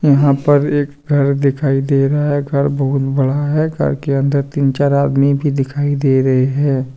यहाँ पर एक घर दिखाई दे रहा है घर बहुत बड़ा है घर के अंदर तीन चार आदमी भी दिखाई दे रहे हैं।